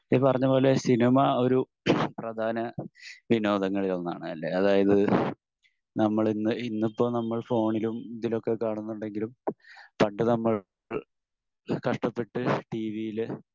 ഈ പറഞ്ഞ പോലെ സിനിമ ഒരു പ്രധാന വിനോദങ്ങളിൽ ഒന്നാണ്‌ അല്ലെ? അതായത് നമ്മളിന്ന്, ഇന്നിപ്പോ നമ്മൾ ഫോണിലും ഇതിലും ഒക്കെ കാണുന്നുണ്ടെങ്കിലും പണ്ട് നമ്മൾ കഷ്ടപ്പെട്ട് ടീവീല്